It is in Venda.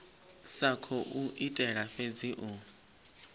sa khou itela fhedzi u